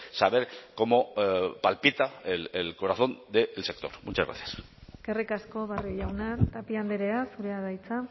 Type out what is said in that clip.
saber cómo palpita el corazón del sector muchas gracias eskerrik asko barrio jauna tapia andrea zurea da hitza